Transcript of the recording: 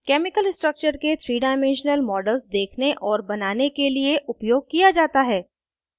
* chemical structures के 3 dimensional models देखने और बनाने के लिए उपयोग किया जाता है